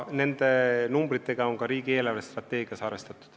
Nende numbritega on ka riigi eelarvestrateegias arvestatud.